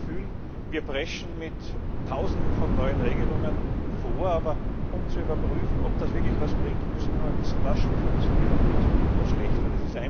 Ich habe immer das Gefühl, wir preschen mit Tausenden von neuen Regelungen vor, aber um zu überprüfen, ob das wirklich etwas bringt, müssen wir einmal wissen, was schon funktioniert hat und was gut und was schlecht war.